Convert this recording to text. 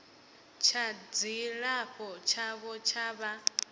tsha dzilafho tshavho tsha vha